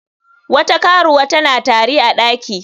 Wata karuwa tana tari a daki.